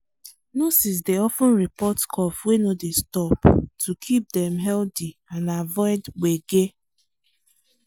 nurses dey of ten report cough wey no dey stop to keep them healthy and avoid gbege.